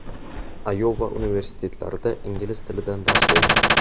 Ayova universitetlarida ingliz tilidan dars bergan.